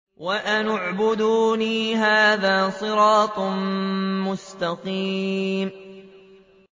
وَأَنِ اعْبُدُونِي ۚ هَٰذَا صِرَاطٌ مُّسْتَقِيمٌ